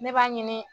Ne b'a ɲini